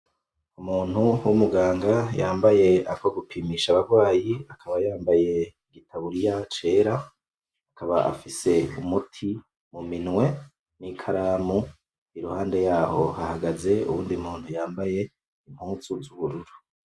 Umuntu w'umuganga yambaye ako gupimisha abagwayi, akaba yambaye igitaburiya cera, akaba afise umuti mu minwe n'ikaramu, iruhande yaho hahagaze uwundi muntu yambaye impuzu zubururu.